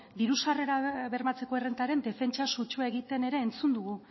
diru sarrerak bermatzearen errentaren defentsa sutsua egiten ere entzun dugu